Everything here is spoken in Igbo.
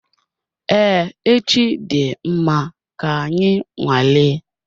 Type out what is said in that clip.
Ee echi dị mma, ka anyị nwale